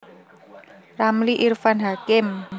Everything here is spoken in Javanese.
Ramli Irfan Hakim